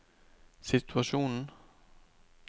situasjon